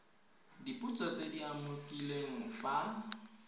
dipotso tse di umakiliweng fa